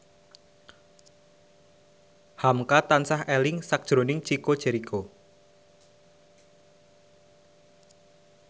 hamka tansah eling sakjroning Chico Jericho